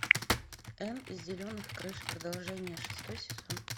энн из зеленых крыш продолжение шестой сезон